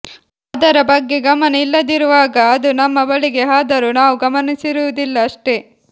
ಅದರ ಬಗ್ಗೆ ಗಮನ ಇಲ್ಲದಿರುವಾಗ ಅದು ನಮ್ಮ ಬಳಿಗೆ ಹಾದರೂ ನಾವು ಗಮನಿಸಿರುವುದಿಲ್ಲ ಅಷ್ಟೇ